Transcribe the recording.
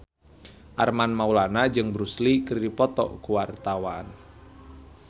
Armand Maulana jeung Bruce Lee keur dipoto ku wartawan